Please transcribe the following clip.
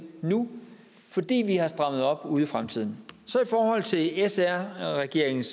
nu fordi vi har strammet op ude i fremtiden så i forhold til sr regeringens